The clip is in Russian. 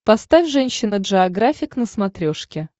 поставь женщина джеографик на смотрешке